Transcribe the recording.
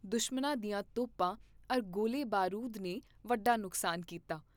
ਦੁਸ਼ਮਨਾਂ ਦੀਆਂ ਤੋਪਾਂ ਅਰ ਗੋਲੇ ਬਾਰੂਦ ਨੇ ਵੱਡਾ ਨੁਕਸਾਨ ਕੀਤਾ।